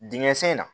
Dingɛ sen in na